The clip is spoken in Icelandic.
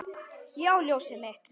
Já, ljósið mitt.